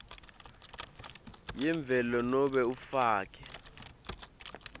yemvelo nobe ufake